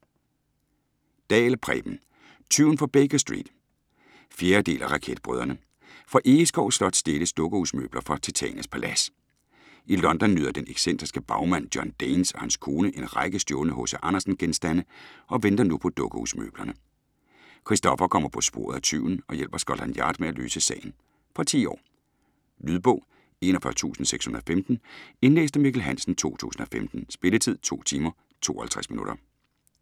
Dahl, Preben: Tyven fra Baker Street 4. del af Raketbrødrene. Fra Egeskov Slot stjæles dukkehusmøbler fra Titanias Palads. I London nyder den excentriske bagmand John Danes og hans kone en række stjålne H.C. Andersen-genstande og venter nu på dukkehusmøblerne. Kristoffer kommer på sporet af tyven og hjælper Scotland Yard med at løse sagen. Fra 10 år. Lydbog 41615 Indlæst af Mikkel Hansen, 2015. Spilletid: 2 timer, 52 minutter.